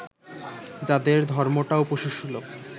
যাদের ধর্মটাও পশুসুলভ